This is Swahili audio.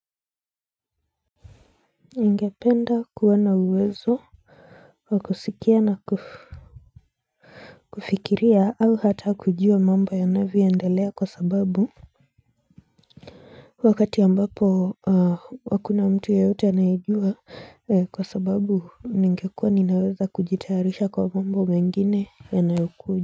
Ningependa kuwa na uwezo Kwa kusikia na kufikiria au hata kujua mambo yanavyoendelea kwa sababu Wakati ambapo hakuna mtu yeyote anayejua kwasababu ningekua ninaweza kujitayarisha kwa mambo mengine ya yanayokuja.